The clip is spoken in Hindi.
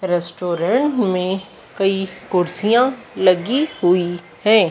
रेस्टोरेंट में कई कुर्सियां लगी हुई हैं।